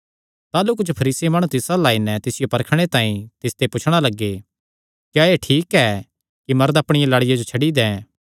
ताह़लू कुच्छ फरीसी माणु तिस अल्ल आई नैं तिसियो परखणे तांई तिसते पुछणा लग्गे क्या एह़ ठीक ऐ कि मरद अपणिया लाड़िया जो छड्डी दे